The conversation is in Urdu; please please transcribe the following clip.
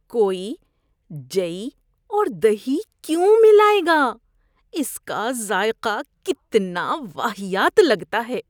کوئی جئی اور دہی کیوں ملائے گا؟ اس کا ذائقہ کتنا واہیات لگتا ہے۔